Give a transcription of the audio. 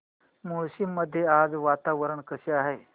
मुळशी मध्ये आज वातावरण कसे आहे